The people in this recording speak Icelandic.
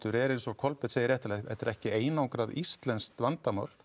er eins og Kolbeinn segir réttilega þetta er ekki einangrað íslenskt vandamál